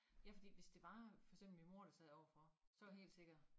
Ja fordi hvis var for eksempel min mor der sad overfor mig så var jeg helt sikkert